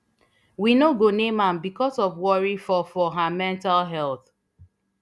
we no go name am becos of worry for for her mental health